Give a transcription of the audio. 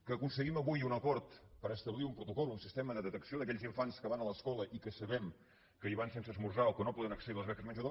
que aconseguim avui un acord per establir un protocol un sistema de detecció d’aquells infants que van a l’escola i que sabem que hi van sense esmorzar o que no poden accedir a les beques menjador